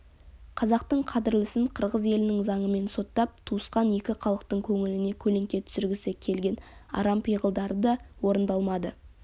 қазақтың қадірлісін қырғыз елінің заңымен соттап туысқан екі халықтың көңіліне көлеңке түсіргісі келген арам пиғылдары да орындалмады